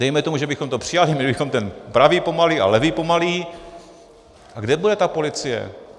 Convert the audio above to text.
Dejme tomu, že bychom to přijali, měli bychom ten pravý pomalý a levý pomalý - a kde bude ta policie?